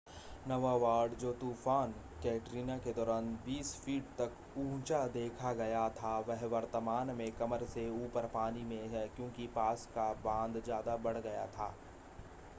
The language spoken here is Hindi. नौवां वार्ड जो तूफ़ान कैटरीना के दौरान 20 फ़ीट तक ऊंचा देखा गया था वह वर्तमान में कमर से ऊपर पानी में है क्योंकि पास का बांध ज़्यादा बढ़ गया था